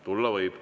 Tulla võib.